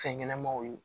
Fɛn ɲɛnɛmanw ye